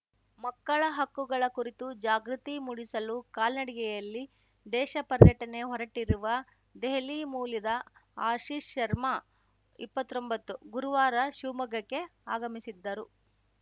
ಮಕ್ಕಳ ಹಕ್ಕುಗಳ ಕುರಿತು ಜಾಗೃತಿ ಮೂಡಿಸಲು ಕಾಲ್ನಡಿಗೆಯಲ್ಲಿ ದೇಶ ಪರ್ಯಟನೆ ಹೊರಟಿರುವ ದೆಹಲಿ ಮೂಲ್ಯದ ಆಶೀಶ್‌ ಶರ್ಮಾಇಪ್ರತ್ತೊಂಬತ್ತು ಗುರುವಾರ ಶಿವಮೊಗ್ಗಕ್ಕೆ ಆಗಮಿಸಿದ್ದರು